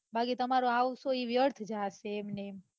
બાકી તમારું આ વસ્તુ વ્યર્થ જાશે એમના એમ